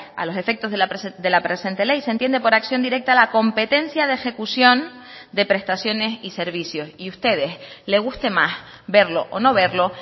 a los efectos de la presente ley se entiende por acción directa la competencia de ejecución de prestaciones y servicios y ustedes le guste más verlo o no verlo